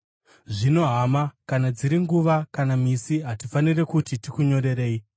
Zvino, hama, kana dziri nguva kana misi hatifaniri kuti tikunyorerei,